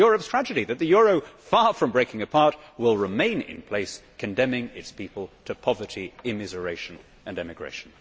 That is Europe's tragedy that the euro, far from breaking apart, will remain in place, condemning its people to poverty, immiseration and emigration.